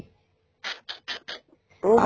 ਉਹ